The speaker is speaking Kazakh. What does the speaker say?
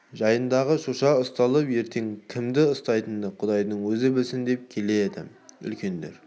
жайындыдағы шоша ұсталыпты ертең кімді ұстайтынын құдайдың өзі білсін деп келеді үлкендер